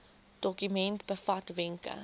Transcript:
dokument bevat wenke